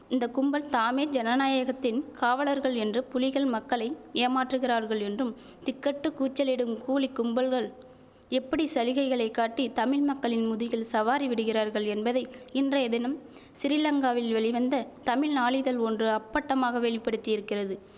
இந்த கும்பல் தாமே ஜனநாயகத்தின் காவலர்கள் என்று புலிகள் மக்களை ஏமாற்றுகிறார்கள் என்றும் திக்கெட்டு கூச்சலிடும் கூலிக் கும்பல்கள் எப்படி சலுகைகளை காட்டி தமிழ் மக்களின் முதுகில் சவாரி விடுகிறார்கள் என்பதை இன்றைய தினம் சிறிலங்காவில் வெளிவந்த தமிழ் நாளிதழ் ஒன்று அப்பட்டமாக வெளிப்படுத்தியிருக்கிறது